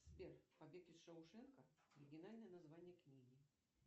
сбер побег из шоушенка оригинальное название книги